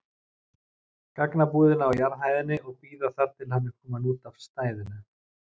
gagnabúðina á jarðhæðinni og bíða þar til hann er kominn út af stæðinu.